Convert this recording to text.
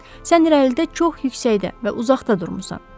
Sən irəlidə çox yüksəkdə və uzaqda durmusan.